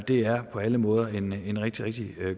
det er på alle måder en en rigtig rigtig